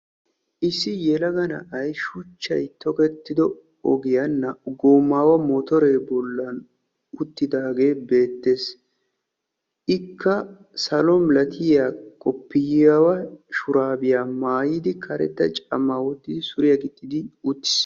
Issi yelaga na'ay shuchchay tokettido ogiyaa naa"u gomaawa motoree bollan uttidaagee beettees. ikka salo milatiya qoppiyaawa shuraabiyaa maayidi karetta camaawottidi suriyaa gixxidi uttiis